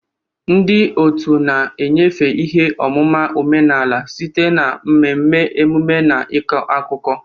Ndị otu na-enyefe ihe ọmụma omenala site na mmemme, emume na ịkọ akụkọ.